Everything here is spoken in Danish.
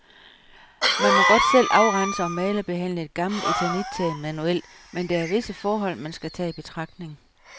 Man må godt selv afrense og malerbehandle et gammelt eternittag manuelt, men der er visse forhold, man skal tage i betragtning.